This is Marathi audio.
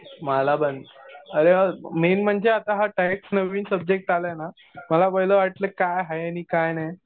मला पण. अरे हा मेन म्हणजे आता हा टॅक्स नवीन सब्जेक्ट आलाय ना. मला पहिले वाटलं कि काय आहे आणि काय नाही.